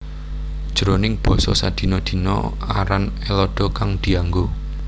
Jroning basa sadina dina aran Ellada kang dianggo